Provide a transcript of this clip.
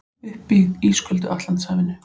Uppi í ísköldu Atlantshafinu.